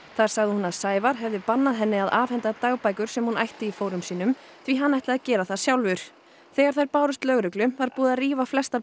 hefði bannað henni að afhenda dagbækur sem hún ætti í fórum sínum því hann ætli gera það sjálfur þegar þær bárust lögreglu var búið að rífa flestar blaðsíður úr þeim